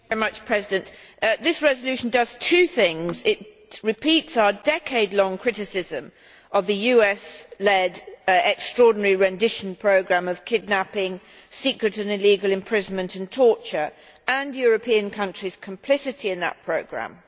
Mr President, this resolution does two things it repeats our decade long criticism of the US led extraordinary rendition programme of kidnapping, secret and illegal imprisonment and torture, and European countries' complicity in that programme.